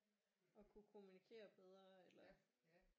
At kunne kommunikere bedre eller